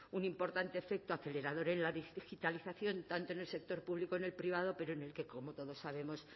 un importante efecto acelerador en la digitalización tanto en el sector público en el privado pero en el que como todos sabemos